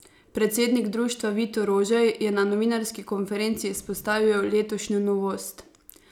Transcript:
Predsednik društva Vito Rožej je na novinarski konferenci izpostavil letošnjo novost.